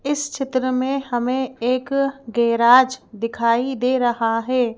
इस चित्र में हमें एक गैराज दिखाई दे रहा है।